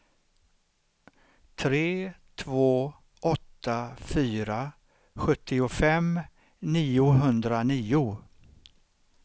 tre två åtta fyra sjuttiofem niohundranio